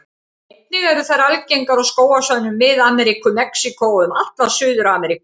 Einnig eru þær algengar á skógarsvæðum Mið-Ameríku, Mexíkó og um alla Suður-Ameríku.